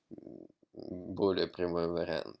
более прямой вариант